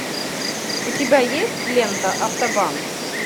у тебя есть лента автобан